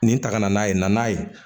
Nin ta ka na n'a ye naaninan ye